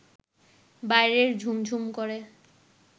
বাইরে ঝুমঝুম করে